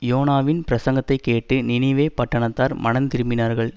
யோனாவின் பிரசங்கத்தைக் கேட்டு நினிவே பட்டணத்தார் மனந்திரும்பினார்கள்